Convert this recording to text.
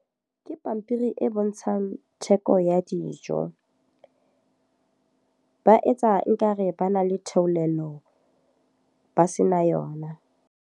Ke pampiri e bontshang theko ya dijo. Ba etsa e ka re ba na le theolelo, ba se na yona.